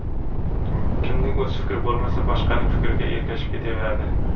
Kimning o‘z fikri bo‘lmasa, boshqaning fikriga ergashib ketaveradi.